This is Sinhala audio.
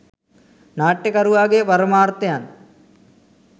නාට්‍යකරුවාගේ පරමාර්ථයන්